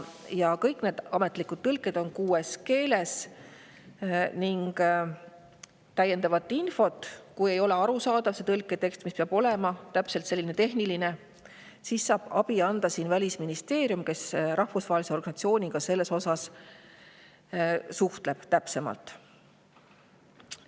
Ametlik tõlge on tehtud kõigis kuues keeles ning kui tõlketekst, mis peab olema tehniline, ei ole arusaadav, siis saab abi anda Välisministeerium, kes rahvusvahelise organisatsiooniga selles osas täpsemalt suhtleb.